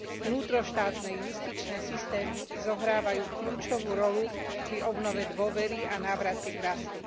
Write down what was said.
Vnútroštátne justičné systémy zohrávajú kľúčovú rolu pri obnove dôvery a návrate k rastu.